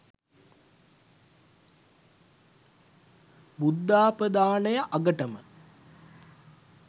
බුද්ධාපදානය අගටම